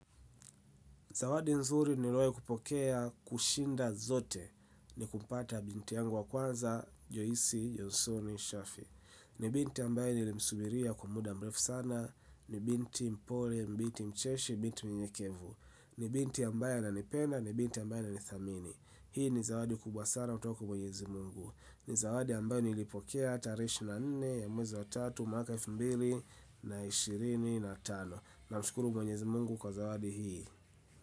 Zawadi nzuri niliahi kupokea kushinda zote ni kupata binti yangu wa kwanza, joisi, jonsoni, shafi. Ni binti ambaye nilimsubiria kwa muda mrefu sana. Ni binti mpole, binti mcheshi, binti mnyenyekevu. Ni binti ambaye ananipenda, ni binti ambaye ninaithamini. Hii ni zawadi kubwa sana kutoka kwa mwenyezi mungu. Ni zawadi ambaye nilipokea tarehe ishirini na nne, mwezi wa tatu, mwaka wa eifu mbili, na ishirini, na tano. Namshukuru mwenyezi mungu kwa zawadi hii.